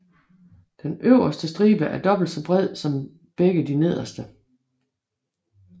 Den øverste stribe er dobbelt så bred som begge de nederste